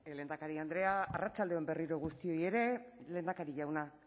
lehendakari andrea arratsalde on berriro guztioi ere lehendakari jauna